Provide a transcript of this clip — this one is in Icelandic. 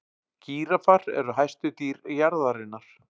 Gíraffar eru hæstu dýr jarðarinnar.